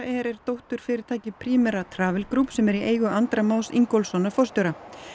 er dótturfyrirtæki Primera Travel Group sem er í eigu Andra Más Ingólfssonar forstjóra